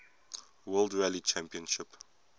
world rally championship